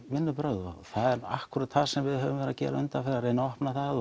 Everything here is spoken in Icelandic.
vinnubrögð og það er akkúrat það sem við höfum verið að gera undanfarið að reyna að opna það